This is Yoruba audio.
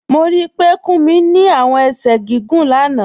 Mo rí pé Kúmí ni awọn èṣẹ̀ gígùn lána